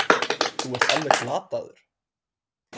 Þú ert alveg glataður!